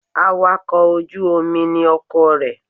Awakọ̀ ojú Omi ni ọkọ rẹ